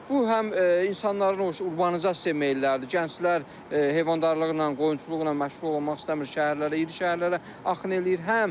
Bu həm insanların o urbanizasiyaya meylləridir, gənclər heyvandarlıqla, qoyunçuluqla məşğul olmaq istəmir, şəhərlərə, iri şəhərlərə axın eləyir.